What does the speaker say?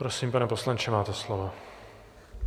Prosím, pane poslanče, máte slovo.